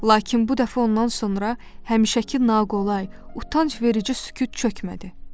Lakin bu dəfə ondan sonra həmişəki naqolay, utancverici sükut çökmədi.